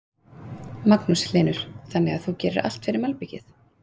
Magnús Hlynur: Þannig að þú gerir allt fyrir malbikið?